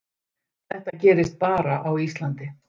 Þetta gerist bara á Íslandi.